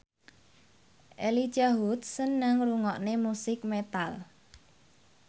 Elijah Wood seneng ngrungokne musik metal